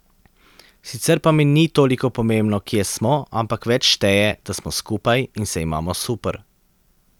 Sicer pa mi ni toliko pomembno, kje smo, ampak več šteje, da smo skupaj in se imamo super.